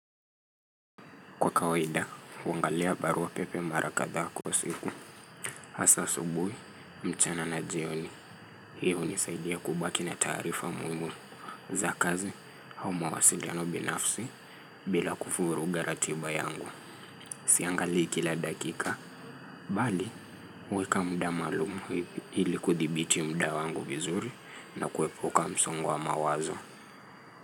Kwa kawaida, huwangalia barua pepe mara katha kwa siku. Asa subuhi, mchana na jioni. Hiyo unisaidia kubaki na tarifa muimu. Za kazi, hau mawasiliano binafsi, bila kufuruga ratiba yangu. Siangalii kila dakika. Bali, huweka muda malumu hili kuthibiti muda wangu vizuri na kuepuka msongo wa mawazo.